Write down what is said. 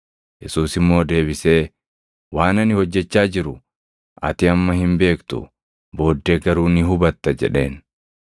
Yesuus immoo deebisee, “Waan ani hojjechaa jiru ati amma hin beektu; booddee garuu ni hubatta” jedheen.